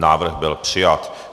Návrh byl přijat.